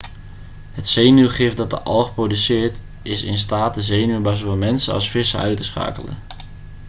het zenuwgif dat de alg produceert is in staat de zenuwen bij zowel mensen als vissen uit te uitschakelen